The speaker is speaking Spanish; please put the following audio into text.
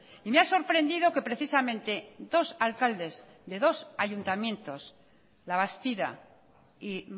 y me ha sorprendido que precisamente dos alcaldes de dos ayuntamientos labastida y